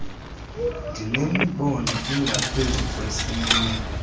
ndinemibono engaphezu kwesinye